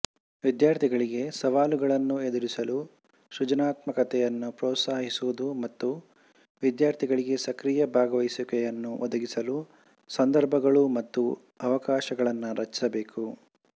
ವಿದ್ಯಾರ್ಥಿಗಳಿಗೆ ಸವಾಲುಗಳನ್ನು ಎದುರಿಸಲು ಸೃಜನಾತ್ಮಕತೆಯನ್ನು ಪ್ರೋತ್ಸಾಹಿಸುವುದು ಮತ್ತು ವಿದ್ಯಾರ್ಥಿಗಳಿಗೆ ಸಕ್ರಿಯ ಭಾಗವಹಿಸುವಿಕೆಯನ್ನು ಒದಗಿಸಲು ಸಂದರ್ಭಗಳು ಮತ್ತು ಅವಕಾಶಗಳನ್ನು ರಚಿಸಬೇಕು